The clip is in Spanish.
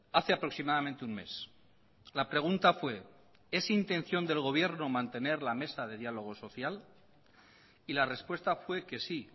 hace aproximadamente un mes la pregunta fue es intención del gobierno mantener la mesa de diálogo social y la respuesta fue que sí